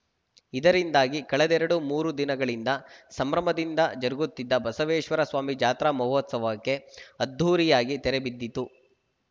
ಇದರಿಂದಾಗಿ ಕಳೆದೆರಡು ಮೂರು ದಿನಗಳಿಂದ ಸಂಭ್ರಮದಿಂದ ಜರುಗುತ್ತಿದ್ದ ಬಸವೇಶ್ವರ ಸ್ವಾಮಿ ಜಾತ್ರಾ ಮಹೋತ್ಸವಕ್ಕೆ ಅದ್ಧೂರಿಯಾಗಿ ತೆರೆಬಿದ್ದಿತು